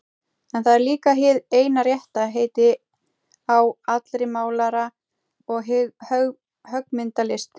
En það er líka hið eina rétta heiti á allri málara- og höggmyndalist.